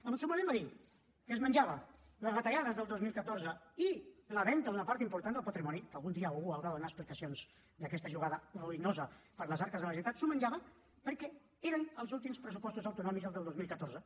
en el seu moment va dir que es menjava les retallades del dos mil catorze i la venda d’una part important del patrimoni que algun dia algú haurà de donar explicacions d’aquesta jugada ruïnosa per a les arques de la generalitat s’ho menjava perquè eren els últims pressupostos autonòmics els del dos mil catorze